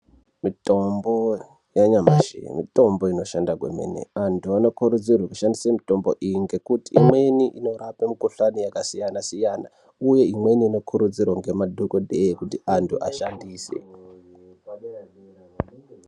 Mitombo yanyamashi mitombo inoshanda kwemene. Antu anokurudzirwe kushandise mitombo iyi ngekuti imweni inorape mikhuhlani yakasiyana-siyana, uye imweni inokurudzirwe ngemadhokodheye kuti antu ashandise.